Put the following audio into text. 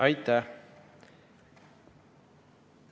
Aitäh!